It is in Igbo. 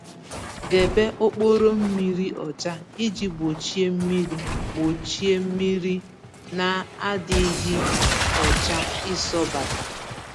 Debe okporo mmiri ọcha iji gbochie mmiri gbochie mmiri n'adịghị ọcha isọbata